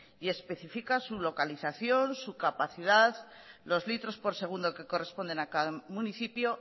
y especifica su localización su capacidad los litros por segundo que corresponden a cada municipio